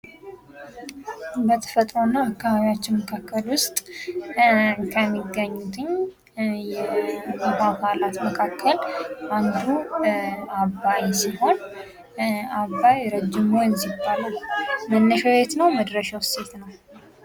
በተፈጥሮና አካባቢያችን መካከል ውስጥ ከሚገኙትኝ የውሃ አካላት መካከል አንዱ አባይ ሲሆን ፤ አባይ ረጅሙ ወንዝ ይባላል። መነሻው የት ነው? መድረሻውስ የት ነው?